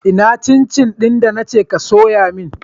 Ina cin cin na ce ka soya ni?